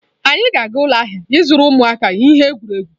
Anyị ga-aga ụlọ ahịa ịzụrụ ụmụaka ihe egwuregwu.